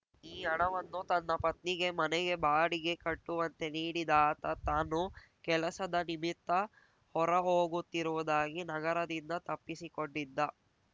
ಈ ಹಣವನ್ನು ತನ್ನ ಪತ್ನಿಗೆ ಮನೆಗೆ ಬಾಡಿಗೆ ಕಟ್ಟುವಂತೆ ನೀಡಿದ ಆತ ತಾನು ಕೆಲಸದ ನಿಮಿತ್ತ ಹೊರ ಹೋಗುತ್ತಿರುವುದಾಗಿ ನಗರದಿಂದ ತಪ್ಪಿಸಿಕೊಂಡಿದ್ದ